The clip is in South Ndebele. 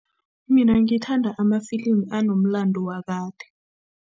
Mina ngithanda amfilimi anomlando wakade.